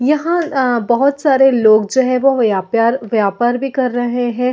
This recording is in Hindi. यहाँ अ बहुत सारे लोग जो है वो व्यापार व्यापार भी कर रहै है।